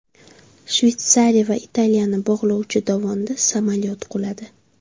Shveysariya va Italiyani bog‘lovchi dovonda samolyot quladi.